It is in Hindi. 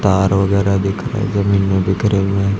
तार वगैरा दिख रहे जमीन में बिखरे हुए।